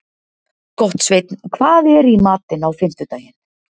Gottsveinn, hvað er í matinn á fimmtudaginn?